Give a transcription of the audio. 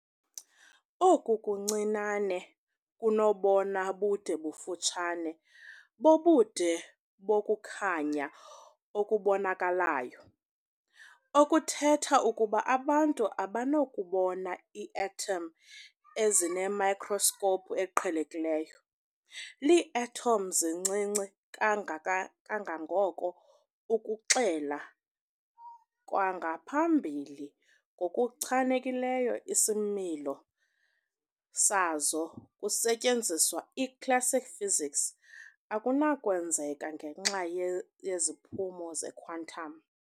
Oku kuncinane kunobona bude bufutshane bobude bokukhanya okubonakalayo, okuthetha ukuba abantu abanakubona iiathom ezinemikroskopu eqhelekileyo. Iiathom zincinci kangangokuba ukuxela kwangaphambili ngokuchanekileyo isimilo sazo kusetyenziswa i-classical physics akunakwenzeka ngenxa yeziphumo zequantum.